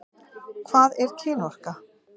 Hvað er kynorka?